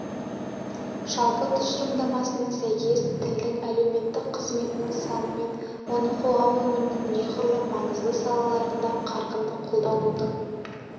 жалпы тұжырымдамасына сәйкес тілдің әлеуметтік қызметінің саны мен оны қоғам өмірінің неғұрлым маңызды салаларында қарқынды қолданудың